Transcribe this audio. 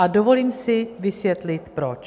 A dovolím si vysvětlit proč.